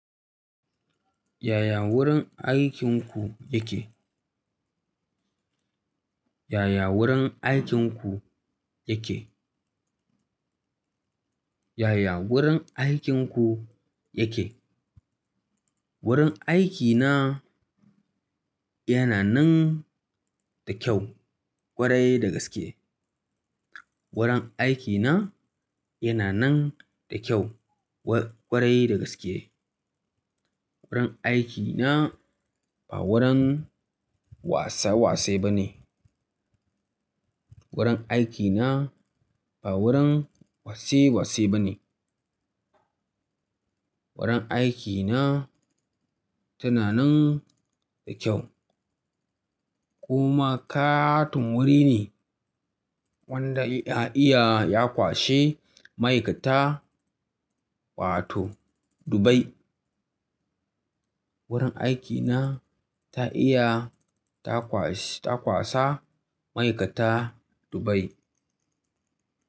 Yaya wurin aikinku yake? Yaya wurin aikinku yake? Yaya wurin aikinku yake? Wurin aikina yana nan da kyau ƙwarai da gaske. Wurin aikina yana nan da kyau ƙwarai da gaske. Wurin aikina ba wurin wasa wase bane. Wurin aikina ba wurin wase wase bane. Wurin aikina tana nan da kyau. Kuma ƙaton wuri ne wanda ya iya ya kwashe ma'aikata wato Dubai. Wurin aikina ta iya ta kwasa ma'aikata Dubai.